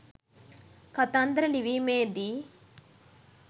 කතන්දර ලිවීමේදීයි.